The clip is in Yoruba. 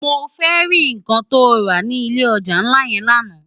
Mó fè ri nkán tó rá ni ilé òjá nlá yèn làná